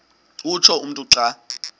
utsho umntu xa